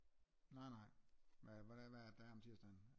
Nej nej hvad er det der er om tirsdagen?